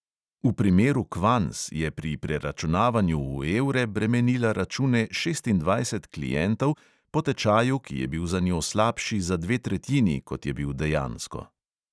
V primeru kvanz je pri preračunavanju v evre bremenila račune šestindvajsetih klientov po tečaju, ki je bil za njo slabši za dve tretjini, kot je bil dejansko.